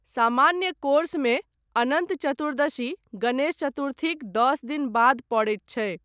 सामान्य कोर्समे अनन्त चतुर्दशी गणेश चतुर्थीक दश दिन बाद पड़ैत छै।